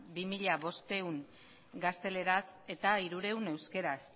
bi mila bostehun gazteleraz eta hirurehun euskaraz